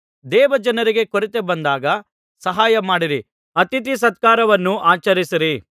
ದೇವಜನರಿಗೆ ಕೊರತೆ ಬಂದಾಗ ಸಹಾಯ ಮಾಡಿರಿ ಅತಿಥಿಸತ್ಕಾರವನ್ನು ಆಚರಿಸಿರಿ